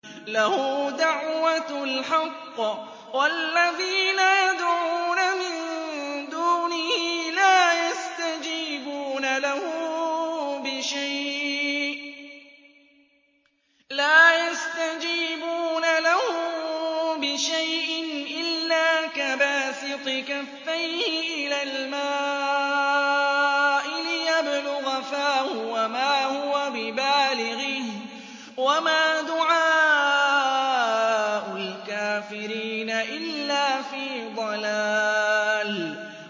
لَهُ دَعْوَةُ الْحَقِّ ۖ وَالَّذِينَ يَدْعُونَ مِن دُونِهِ لَا يَسْتَجِيبُونَ لَهُم بِشَيْءٍ إِلَّا كَبَاسِطِ كَفَّيْهِ إِلَى الْمَاءِ لِيَبْلُغَ فَاهُ وَمَا هُوَ بِبَالِغِهِ ۚ وَمَا دُعَاءُ الْكَافِرِينَ إِلَّا فِي ضَلَالٍ